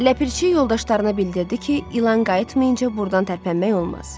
Ləpirçi yoldaşlarına bildirdi ki, İlan qayıtmayınca burdan tərpənmək olmaz.